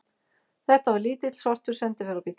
Þetta var lítill, svartur sendiferðabíll.